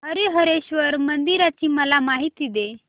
हरीहरेश्वर मंदिराची मला माहिती दे